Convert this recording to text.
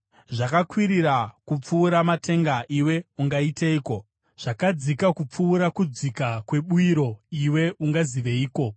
Zvakakwirira kupfuura matenga, iwe ungaiteiko? Zvakadzika kupfuura kudzika kwebwiro, iwe ungaziveiko?